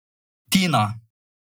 Tina.